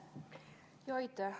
Aitäh!